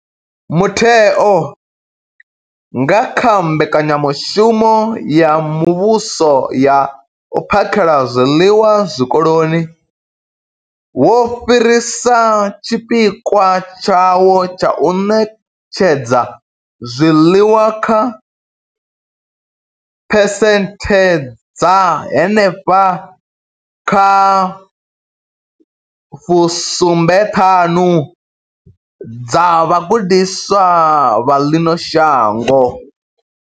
Mutheo, nga kha mbekanyamushumo ya muvhuso ya u phakhela zwiḽiwa zwikoloni, wo fhirisa tshipikwa tshawo tsha u ṋetshedza zwiḽiwa kha phesenthe dza henefha kha fu sumbe ṱhanu dza vhagudiswa vha ḽino shango.